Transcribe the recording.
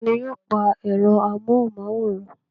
Taani yóò pa ẹ̀rọ amóhùnmáwòrán.